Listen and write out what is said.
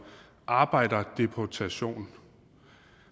arbejderdeportation